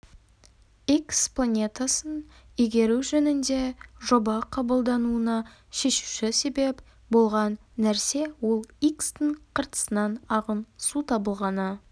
икс планетасын игеру жөнінде жоба қабылдануына шешуші себеп болған нәрсе ол икстің қыртысынан ағын су табылғаны